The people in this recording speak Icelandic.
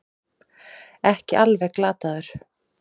Ekki alveg glataður